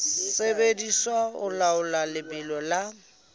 sebediswa ho laola lebelo la